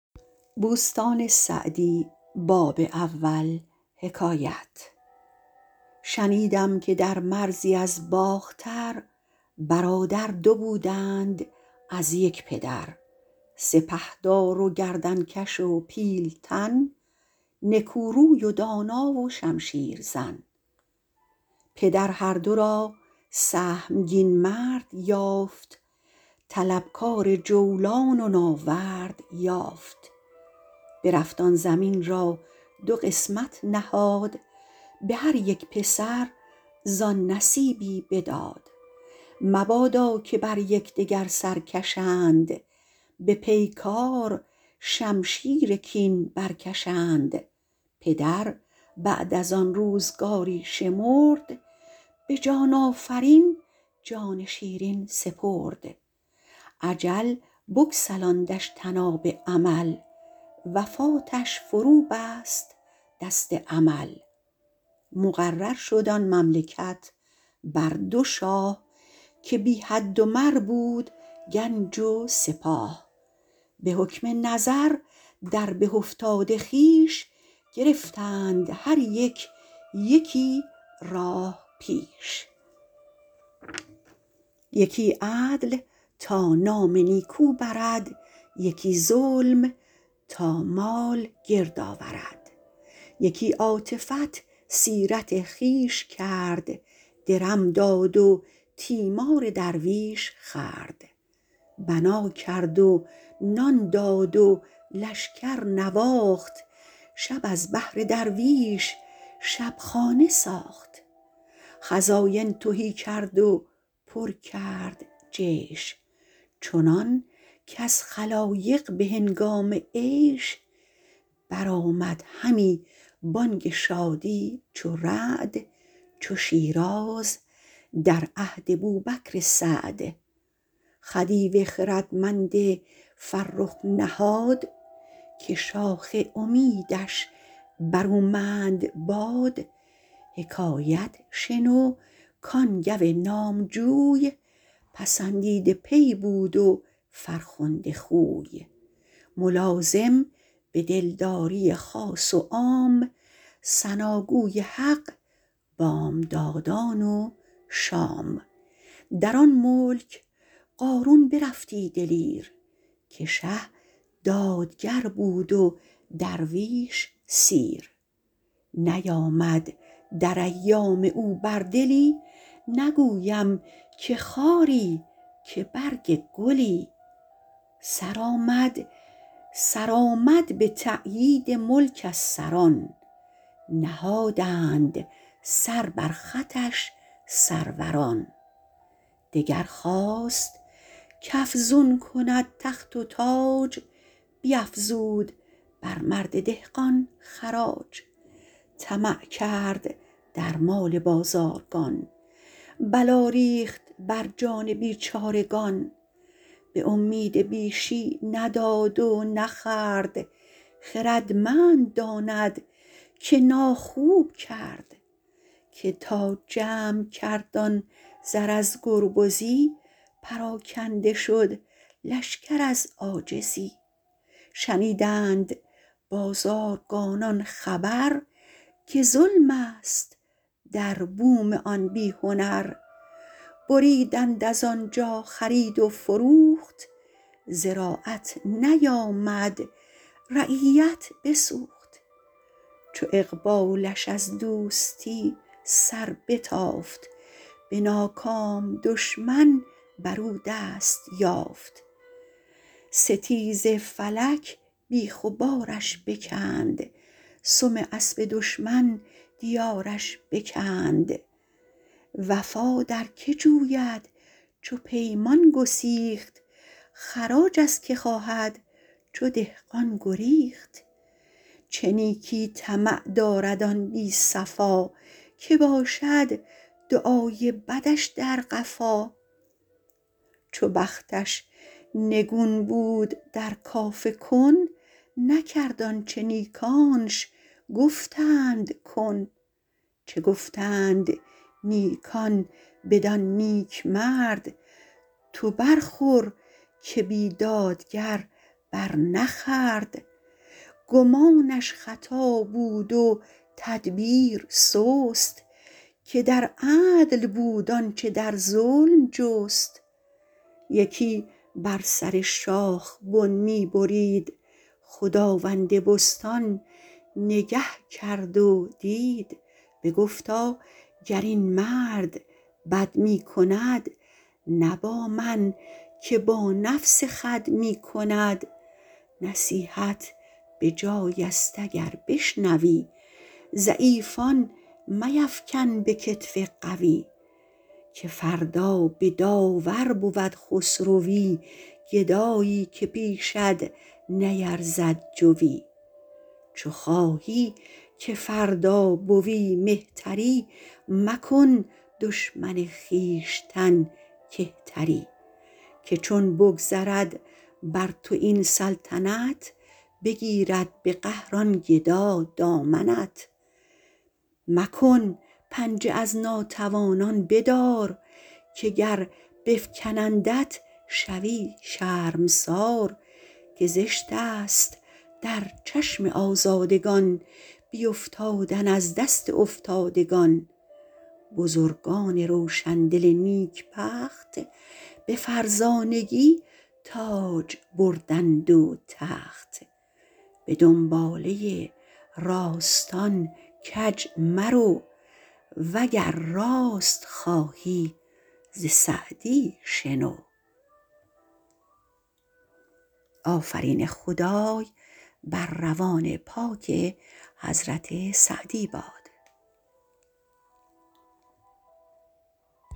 شنیدم که در مرزی از باختر برادر دو بودند از یک پدر سپهدار و گردن کش و پیلتن نکو روی و دانا و شمشیر زن پدر هر دو را سهمگین مرد یافت طلبکار جولان و ناورد یافت برفت آن زمین را دو قسمت نهاد به هر یک پسر زآن نصیبی بداد مبادا که بر یکدگر سر کشند به پیکار شمشیر کین برکشند پدر بعد از آن روزگاری شمرد به جان آفرین جان شیرین سپرد اجل بگسلاندش طناب امل وفاتش فرو بست دست عمل مقرر شد آن مملکت بر دو شاه که بی حد و مر بود گنج و سپاه به حکم نظر در به افتاد خویش گرفتند هر یک یکی راه پیش یکی عدل تا نام نیکو برد یکی ظلم تا مال گرد آورد یکی عاطفت سیرت خویش کرد درم داد و تیمار درویش خورد بنا کرد و نان داد و لشکر نواخت شب از بهر درویش شبخانه ساخت خزاین تهی کرد و پر کرد جیش چنان کز خلایق به هنگام عیش برآمد همی بانگ شادی چو رعد چو شیراز در عهد بوبکر سعد خدیو خردمند فرخ نهاد که شاخ امیدش برومند باد حکایت شنو کان گو نامجوی پسندیده پی بود و فرخنده خوی ملازم به دلداری خاص و عام ثناگوی حق بامدادان و شام در آن ملک قارون برفتی دلیر که شه دادگر بود و درویش سیر نیامد در ایام او بر دلی نگویم که خاری که برگ گلی سرآمد به تأیید ملک از سران نهادند سر بر خطش سروران دگر خواست کافزون کند تخت و تاج بیافزود بر مرد دهقان خراج طمع کرد در مال بازارگان بلا ریخت بر جان بیچارگان به امید بیشی نداد و نخورد خردمند داند که ناخوب کرد که تا جمع کرد آن زر از گربزی پراکنده شد لشکر از عاجزی شنیدند بازارگانان خبر که ظلم است در بوم آن بی هنر بریدند از آنجا خرید و فروخت زراعت نیامد رعیت بسوخت چو اقبالش از دوستی سر بتافت به ناکام دشمن بر او دست یافت ستیز فلک بیخ و بارش بکند سم اسب دشمن دیارش بکند وفا در که جوید چو پیمان گسیخت خراج از که خواهد چو دهقان گریخت چه نیکی طمع دارد آن بی صفا که باشد دعای بدش در قفا چو بختش نگون بود در کاف کن نکرد آنچه نیکانش گفتند کن چه گفتند نیکان بدان نیکمرد تو برخور که بیدادگر بر نخورد گمانش خطا بود و تدبیر سست که در عدل بود آنچه در ظلم جست یکی بر سر شاخ بن می برید خداوند بستان نگه کرد و دید بگفتا گر این مرد بد می کند نه با من که با نفس خود می کند نصیحت بجای است اگر بشنوی ضعیفان میفکن به کتف قوی که فردا به داور برد خسروی گدایی که پیشت نیرزد جوی چو خواهی که فردا به وی مهتری مکن دشمن خویشتن کهتری که چون بگذرد بر تو این سلطنت بگیرد به قهر آن گدا دامنت مکن پنجه از ناتوانان بدار که گر بفکنندت شوی شرمسار که زشت است در چشم آزادگان بیافتادن از دست افتادگان بزرگان روشندل نیکبخت به فرزانگی تاج بردند و تخت به دنباله راستان کج مرو وگر راست خواهی ز سعدی شنو